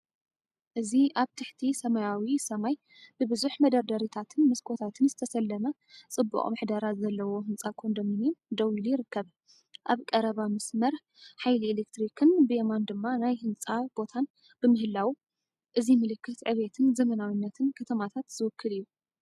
እዚ ኣብ ትሕቲ ሰማያዊ ሰማይ ብብዙሕ መደርደሪታትን መስኮታትን ዝተሰለመ ጽቡቕ ምሕደራ ዘለዎ ህንጻ ኮንዶሚንየም ደው ኢሉ ይርከብ። ኣብ ቀረባ መስመር ሓይሊ ኤሌክትሪክን ብየማን ድማ ናይ ህንጻ ቦታን ብምህላዉ፡ እእዚ ምልክት ዕብየትን ዘመናዊነትን ከተማታት ዝውክል እዩ።